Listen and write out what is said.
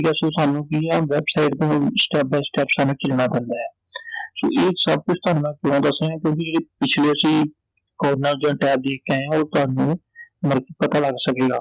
ਸਾਨੂੰ ਕਈ ਵਾਰ website ਤੋਂ step by step ਸਾਨੂੰ ਚਲਣਾ ਪੈਂਦੈ ਸੋ ਇਹ ਸਭ ਕੁਛ ਥੋਨੂੰ ਮੈਂ ਕਿਓਂ ਦੱਸ ਰਿਹੈਂ ਕਿਓਂਕਿ ਇਹ ਪਿਛਲੇ ਚ ਹੀ corner ਜਾਂ tab ਦੇਖਕੇ ਆਇਆਂ ਉਹ ਤੁਹਾਨੂੰ ਮਤਲਬ ਕਿ ਪਤਾ ਲੱਗ ਸਕੇਗਾI